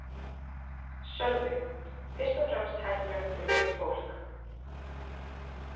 Sölvi: Fyrst og fremst hættuleg fyrir veikt fólk?